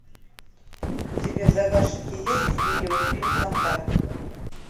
у тебя в загашнике есть видеофильм контакт